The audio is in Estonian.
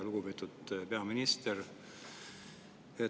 Lugupeetud peaminister!